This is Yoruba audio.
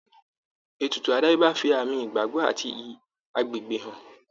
Ètùtù àdáyébá fi àmì ìgbàgbọ́ àti iyì àgbègbè hàn.